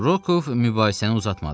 Rokov mübahisəni uzatmadı.